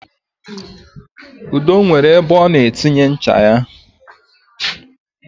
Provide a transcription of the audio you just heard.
Udo nwere ebe ọ na-etinye ncha ya